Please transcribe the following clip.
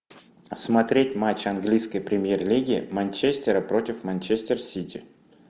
смотреть матч английской премьер лиги манчестера против манчестер сити